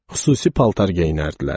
Xüsusi paltar geyinərdilər.